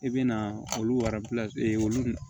I bɛ na olu olu